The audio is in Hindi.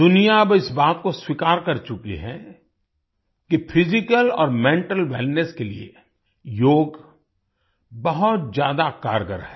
दुनिया अब इस बात को स्वीकार कर चुकी है कि फिजिकल और मेंटल वेलनेस के लिए योग बहुत ज्यादा कारगर है